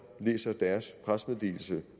læser deres pressemeddelelse